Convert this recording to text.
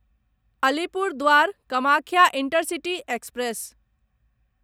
Alipurduar Kamakhya intercity express